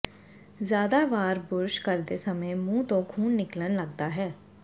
ਜ਼ਿਆਦਾ ਵਾਰ ਬੁਰਸ਼ ਕਰਦੇ ਸਮੇਂ ਮੁੰਹ ਤੋਂ ਖੂਨ ਨਿਕਲਣ ਲੱਗਦਾ ਹੈ